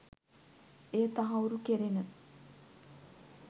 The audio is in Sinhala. එය තහවුරු කෙරෙන